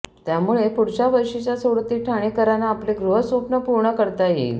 त्यामुळे पुढच्या वर्षीच्या सोडतीत ठाणेकरांना आपले गृहस्वप्न पूर्ण करता येईल